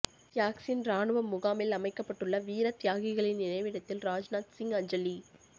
சியாச்சின் ராணுவ முகாமில் அமைக்கப்பட்டுள்ள வீரத்தியாகிகளின் நினைவிடத்தில் ராஜ்நாத் சிங் அஞ்சலி